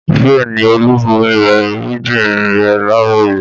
Bẹ́ẹ̀ ni, Olú bomi rẹ irúgbìn rẹ̀ láàárọ̀ yìí.